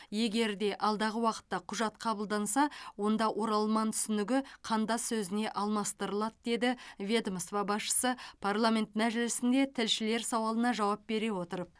егер де алдағы уақытта құжат қабылданса онда оралман түсінігі қандас сөзіне алмастырылады деді ведомство басшысы парламент мәжілісінде тілшілер сауалына жауап бере отырып